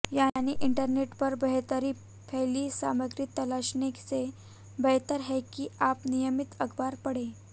यानी इंटरनेट पर बेतरतीब फैली सामग्री तलाशने से बेहतर है कि आप नियमित अखबार पढ़ें